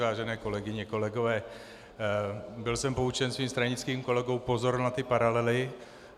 Vážené kolegyně, kolegové, byl jsem poučen svým stranickým kolegou, pozor na ty paralely.